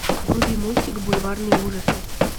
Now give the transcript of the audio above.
вруби мультик бульварные ужасы